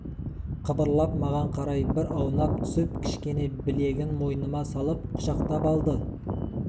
қыбырлап маған қарай бір аунап түсіп кішкене білегін мойныма салып құшақтап алды